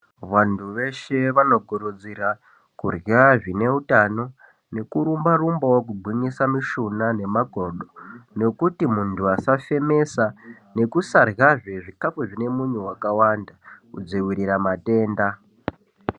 Vantu veshe vanokurudzira kurya zvine utano nekurumba rumbawo kugwinyisa mushuna nemakodo kuti nyama dzisafemesa nekusaryazve zvikafu zvine munyu wakawanda kudziirira matenda.